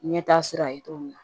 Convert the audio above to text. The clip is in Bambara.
Ɲɛta sira ye cogo min na